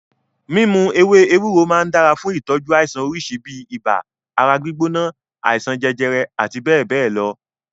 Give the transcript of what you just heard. Mímu ewé ewúro máa ń dára fún ìtọ́jú àìsàn oríṣi bíi ibà, ara gbígbóná, àìsàn jẹjẹrẹ àti bẹ́ẹ̀bẹ́ẹ̀ lọ.